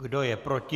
Kdo je proti?